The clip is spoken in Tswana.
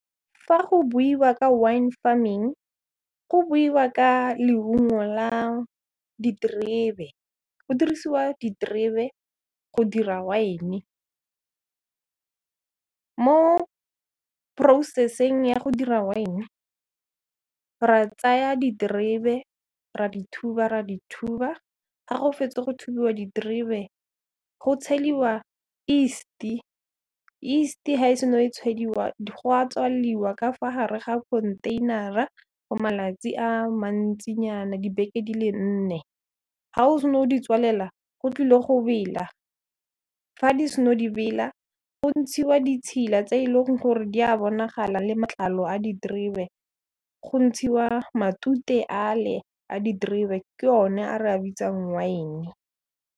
Fa go buiwa ka wine farming, go buiwa ka leungo la ditrebe, go dirisiwa ditrebe go dira wine. Mo process-eng ya go dira wine, ra tsaya ditrebe, ra di thuba, ra di thuba, ga go fetsa go thubiwa ditrebe, go tsheliwa yeast-e. Yeast-e ha e sen'o tshediwa, go a tswaliwa ka fa gare ga konteinara for malatsi a mantsinyana, dibeke di le nne. Ga o sen'o di tswalela, go tlile go bela, fa di sen'o di bela, go ntshiwa ditshila tse e leng gore di a bonagala le matlalo a ditrebe, go ntshiwa matute a le a di ditrebe, ke o ne a re a bitsang wine.